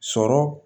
Sɔrɔ